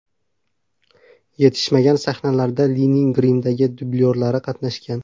Yetishmagan sahnalarda Lining grimdagi dublyorlari qatnashgan.